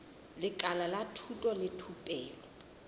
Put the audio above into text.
lekala la thuto le thupelo